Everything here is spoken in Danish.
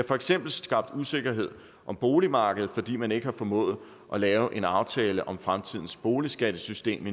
for eksempel skabt usikkerhed på boligmarkedet fordi man endnu ikke har formået at lave en aftale om fremtidens boligskattesystem